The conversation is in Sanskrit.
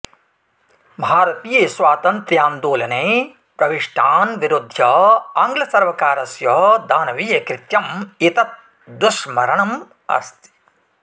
भारतीयस्वातन्त्यान्दोलने प्रविष्टान् विरुद्ध्य आङ्ग्ल सर्वकारस्य दानवीयकृत्यम् एतत् दुःस्मरणम् अस्ति